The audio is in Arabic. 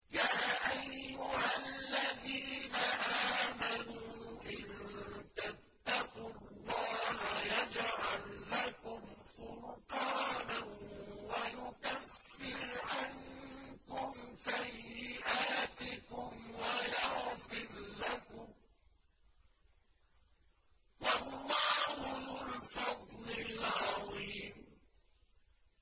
يَا أَيُّهَا الَّذِينَ آمَنُوا إِن تَتَّقُوا اللَّهَ يَجْعَل لَّكُمْ فُرْقَانًا وَيُكَفِّرْ عَنكُمْ سَيِّئَاتِكُمْ وَيَغْفِرْ لَكُمْ ۗ وَاللَّهُ ذُو الْفَضْلِ الْعَظِيمِ